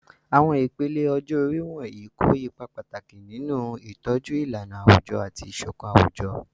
Àwọn ìpele ọjọ́ orí wọ̀nyí kó ipa pàtàkì nínú ìtọ́jú ìlànà àwùjọ àti ìṣọ̀kan àwùjọ.